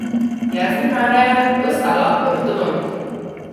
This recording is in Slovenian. Jaz bi najraje postala ortodont.